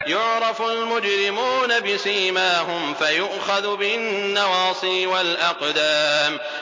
يُعْرَفُ الْمُجْرِمُونَ بِسِيمَاهُمْ فَيُؤْخَذُ بِالنَّوَاصِي وَالْأَقْدَامِ